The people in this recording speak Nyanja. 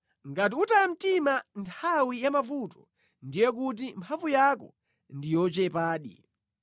Ngati utaya mtima nthawi ya mavuto ndiye kuti mphamvu yako ndi yochepadi!